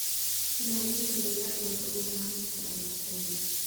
Ilaalinta dalagga waxay u baahan tahay aqoon.